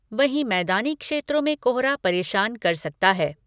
वहीं मैदानी क्षेत्रों में कोहरा परेशान कर सकता है।